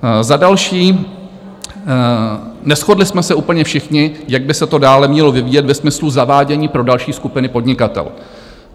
Za další, neshodli jsme se úplně všichni, jak by se to dále mělo vyvíjet ve smyslu zavádění pro další skupiny podnikatelů.